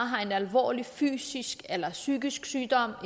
har en alvorlig fysisk eller psykisk sygdom